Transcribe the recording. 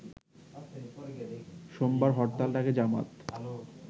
সোমবার হরতাল ডাকে জামায়াত